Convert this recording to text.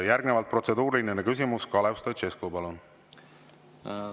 Järgnevalt protseduuriline küsimus, Kalev Stoicescu, palun!